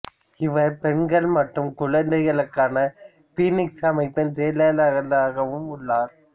இவர் பெண்கள் மற்றும் குழந்தைகளுக்கான பீனிக்ஸ் அமைப்பின் செயலாளராகவும் உள்ளார்